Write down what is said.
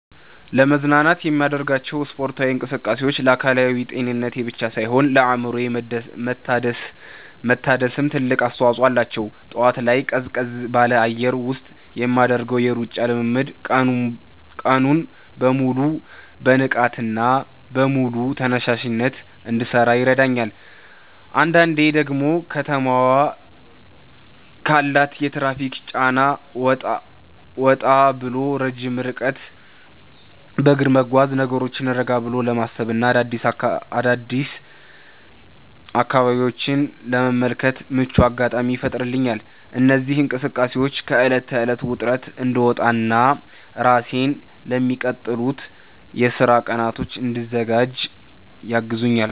ለመዝናናት የማደርጋቸው ስፖርታዊ እንቅስቃሴዎች ለአካላዊ ጤንነቴ ብቻ ሳይሆን ለአእምሮዬ መታደስም ትልቅ አስተዋጽኦ አላቸው። ጠዋት ላይ ቀዝቀዝ ባለ አየር ውስጥ የምናደርገው የሩጫ ልምምድ ቀኑን በሙሉ በንቃትና በሙሉ ተነሳሽነት እንድሠራ ይረዳኛል። አንዳንዴ ደግሞ ከተማዋ ካላት የትራፊክ ጫና ወጣ ብሎ ረጅም ርቀት በእግር መጓዝ፣ ነገሮችን ረጋ ብሎ ለማሰብና አዳዲስ አካባቢዎችን ለመመልከት ምቹ አጋጣሚ ይፈጥርልኛል። እነዚህ እንቅስቃሴዎች ከዕለት ተዕለት ውጥረት እንድወጣና ራሴን ለሚቀጥሉት የሥራ ቀናት እንድዘጋጅ ያግዙኛል።